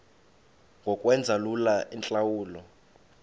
ngokwenza lula iintlawulo